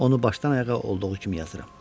Onu başdan ayağa olduğu kimi yazıram.